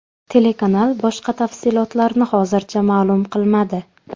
Telekanal boshqa tafsilotlarni hozircha ma’lum qilmadi.